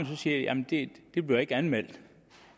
så siger jamen det bliver ikke anmeldt